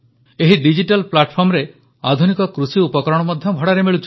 ଏହି ଡିଜିଟାଲ platformରେ ଆଧୁନିକ କୃଷି ଉପକରଣ ମଧ୍ୟ ଭଡ଼ାରେ ମିଳୁଛି